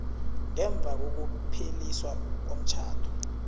ngemva kokupheliswa komtjhado